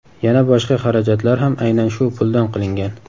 Yana boshqa xarajatlar ham aynan shu puldan qilingan.